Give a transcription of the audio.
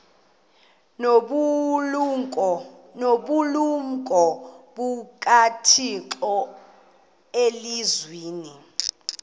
nobulumko bukathixo elizwini